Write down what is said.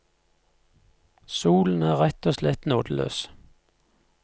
Solen er rett og slett nådeløs.